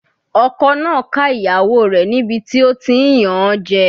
Ọkọ náà ká ìyàwó rẹ̀ níbi tí ó ti ń yàn an jẹ.